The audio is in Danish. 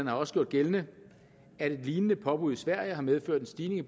har også gjort gældende at et lignende påbud i sverige har medført en stigning i